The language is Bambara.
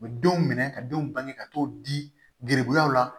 U bɛ denw minɛ ka denw bange ka t'o di gɛribuyaw la